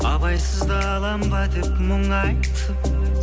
абайсызда аламын ба деп мұңайтып